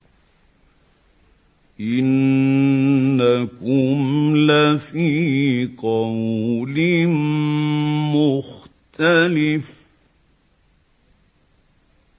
إِنَّكُمْ لَفِي قَوْلٍ مُّخْتَلِفٍ